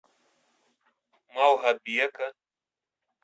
малгобека